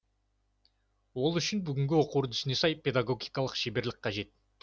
ол үшін бүгінгі оқу үдерісіне сай педагогикалық шеберлік қажет